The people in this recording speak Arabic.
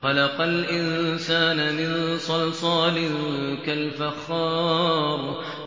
خَلَقَ الْإِنسَانَ مِن صَلْصَالٍ كَالْفَخَّارِ